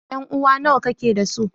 Ƴan'uwa nawa kake dasu?